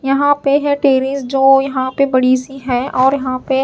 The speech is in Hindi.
यहां पे है टेरिस जो यहां पे बड़ी सी है और यहां पे--